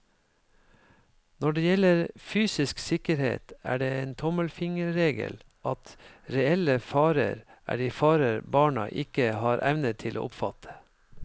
Når det gjelder fysisk sikkerhet, er det en tommelfingerregel at reelle farer er de farer barna ikke har evne til å oppfatte.